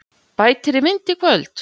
Bætir í vind í kvöld